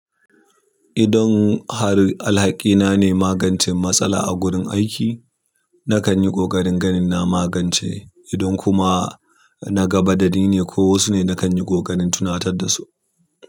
Idon har alhakina ne magancen matsala a gurin aiki, nakan yi ƙoƙarin ganin na magance idan kuma na gaba da ni ne ko wasu ne, nakan yi ƙoƙarin tunatar da su.